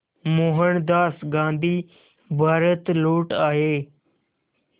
मोहनदास गांधी भारत लौट आए